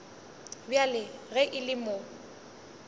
bjale ge e le mo